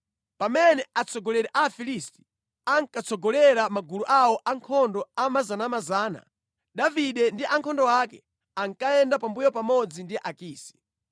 Pamene atsogoleri a Afilisti ankatsogolera magulu awo ankhondo a miyandamiyanda, Davide ndi ankhondo ake ankayenda pambuyo pamodzi ndi Akisi.